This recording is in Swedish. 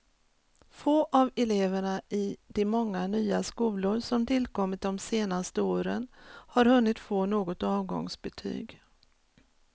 Få av eleverna i de många nya skolor som tillkommit de senaste åren har hunnit få något avgångsbetyg.